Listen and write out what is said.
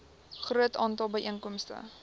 groot aantal byeenkomste